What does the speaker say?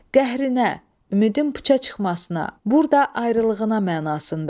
Qəhrinə, ümidin puça çıxmasına, burda ayrılığına mənasında.